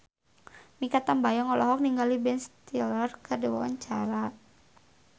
Mikha Tambayong olohok ningali Ben Stiller keur diwawancara